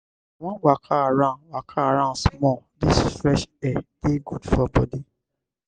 i wan waka around waka around small dis fresh air dey good for bodi.